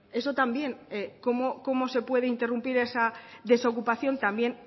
esto también cómo se puede interrumpir esa desocupación también